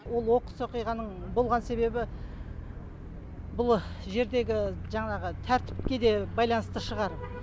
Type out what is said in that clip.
ол оқыс оқиғаның болған себебі бұл жердегі жаңағы тәртіпке де байланысты шығар